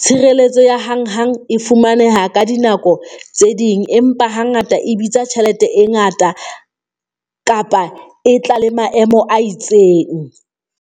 Tshireletso ya hang hang e fumaneha ka dinako tse ding, empa ha ngata e bitsa tjhelete e ngata kapa e tla le maemo a itseng.